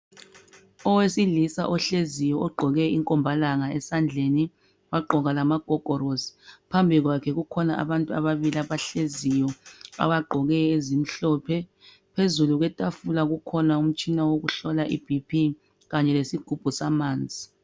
Owesilisa ohleziyo ogqoke inkombalanga esandleni wagqoka lamagogorosiphambi kwakhe kukhona abantu babili abahleziyo abagqoke ezimhlophe, phezukwetafula ukhona umtshina wokuhlola I BP Kanye lesigubhu samanzi.